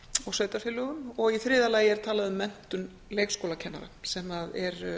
og sveitarfélögum í þriðja lagi er talað um menntun leikskólakennara sem að er